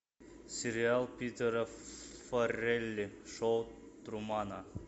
сериал питера фаррелли шоу трумана